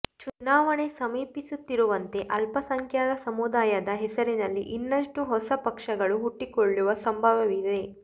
ಚುನಾವಣೆ ಸಮೀಪಿಸುತ್ತಿರುವಂತೆ ಅಲ್ಪಸಂಖ್ಯಾತ ಸಮುದಾಯದ ಹೆಸರಿನಲ್ಲಿ ಇನ್ನಷ್ಟು ಹೊಸ ಪಕ್ಷಗಳು ಹುಟ್ಟಿಕೊಳ್ಳುವ ಸಂಭವವಿದೆ